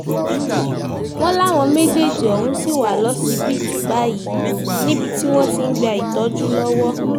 wọ́n láwọn méjèèjì ọ̀hún sì wà lọ́sibítù báyìí níbi tí wọ́n ti ń gba ìtọ́jú lọ́wọ́